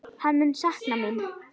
Hann mun sakna mín.